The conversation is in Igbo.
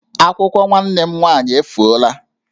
Akwụkwọ nwanne m nwaanyị efuola